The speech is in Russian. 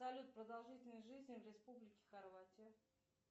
салют продолжительность жизни в республике хорватия